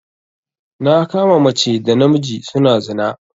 Na kama mace da namiji suna zina.